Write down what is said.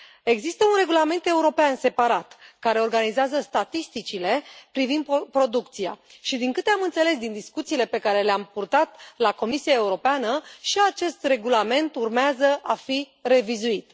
Există un regulament european separat, care organizează statisticile privind producția și, din câte am înțeles din discuțiile pe care le am purtat la Comisia Europeană, și acest regulament urmează a fi revizuit.